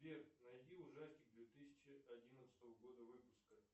сбер найди ужастик две тысячи одиннадцатого года выпуска